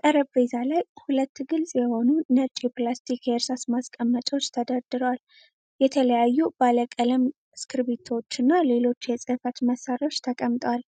ጠረጴዛ ላይ ሁለት ግልጽ የሆኑ ነጭ የፕላስቲክ የእርሳስ ማስቀመጫዎች ተደርድረዋል። የተለያዩ ባለ ቀለም እስክሪብቶዎችና ሌሎች የጽህፈት መሳሪያዎች ተቀምጠዋል።